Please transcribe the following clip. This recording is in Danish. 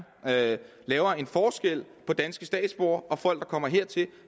laver en forskel på danske statsborgere og folk der kommer hertil